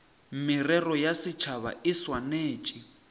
merero ya setšhaba e swanetše